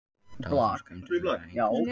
Talsverðar skemmdir urðu en enginn slasaðist